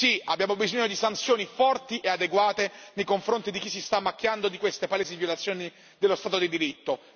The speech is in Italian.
Sì, abbiamo bisogno di sanzioni forti e adeguate nei confronti di chi si sta macchiando di queste palesi violazioni dello Stato di diritto.